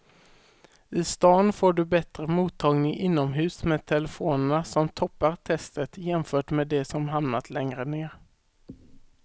I stan får du bättre mottagning inomhus med telefonerna som toppar testet jämfört med de som hamnat längre ner.